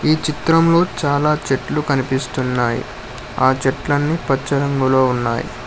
ఈ చిత్రంలో చాలా చెట్లు కనిపిస్తున్నాయి ఆ చెట్లన్ని పరచడంలో ఉన్నాయి.